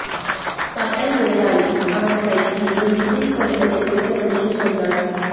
கப்பல் முதலாளி அவன் கையில் ஒரு இட்லி பொட்டலத்தைக் கொடுத்தபடியே சொன்னார்